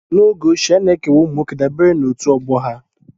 N'oge ochie, a na-ekewa ụmụ nwoke dabere na otu ọgbọ ha